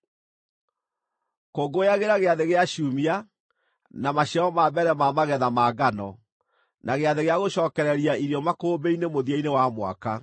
“Kũngũyagĩra Gĩathĩ-gĩa-Ciumia, na maciaro ma mbere ma magetha ma ngano, na Gĩathĩ-gĩa-Gũcookereria irio makũmbĩ-inĩ mũthia-inĩ wa mwaka.